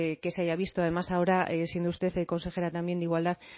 que se haya visto además ahora siendo usted consejera también de igualdad